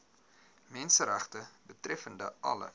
menseregte betreffende alle